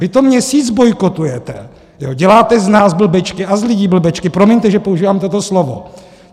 Vy to měsíc bojkotujete, děláte z nás blbečky a z lidí blbečky - promiňte, že používám toto slovo.